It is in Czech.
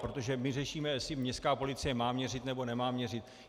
Protože my řešíme, jestli městská policie má měřit, nebo nemá měřit.